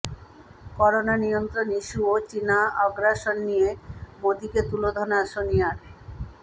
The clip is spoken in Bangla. করোনা নিয়ন্ত্রণ ইস্য়ু ও চিনা আগ্রাসন নিয়ে মোদীকে তুলোধনা সোনিয়ার